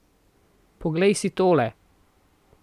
Poglej si tole!